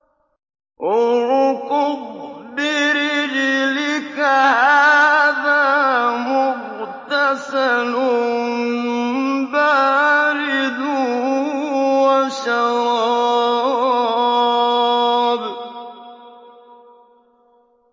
ارْكُضْ بِرِجْلِكَ ۖ هَٰذَا مُغْتَسَلٌ بَارِدٌ وَشَرَابٌ